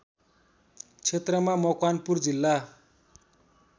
क्षेत्रमा मकवानपुर जिल्ला